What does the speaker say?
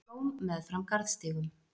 Blóm meðfram garðstígum.